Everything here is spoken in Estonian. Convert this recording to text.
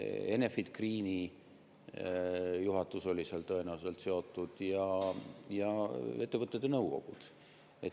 Enefit Greeni juhatus oli sellega tõenäoliselt seotud ja ettevõtete nõukogud.